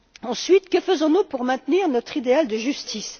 Ensuite, que faisons nous pour maintenir notre idéal de justice?